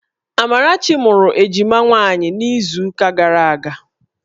Amarachi mụrụ ejima nwaanyị n'izuụka gara aga